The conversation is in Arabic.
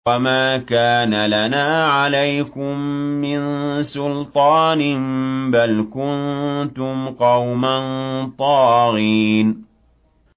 وَمَا كَانَ لَنَا عَلَيْكُم مِّن سُلْطَانٍ ۖ بَلْ كُنتُمْ قَوْمًا طَاغِينَ